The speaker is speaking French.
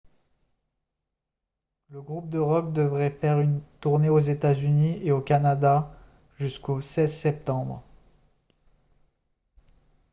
le groupe de rock devait faire une tournée aux états-unis et au canada jusqu'au 16 septembre